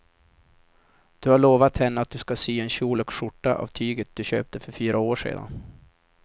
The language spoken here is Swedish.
Du har lovat henne att du ska sy en kjol och skjorta av tyget du köpte för fyra år sedan.